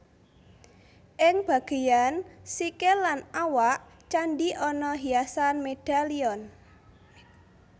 Ing bagéyan sikil lan awak candhi ana hiasan medalion